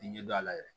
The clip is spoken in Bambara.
Ɲɛ dɔ la yɛrɛ